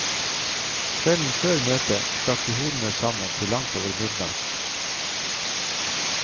Kvelden før møtet stakk de hodene sammen til langt over midnatt.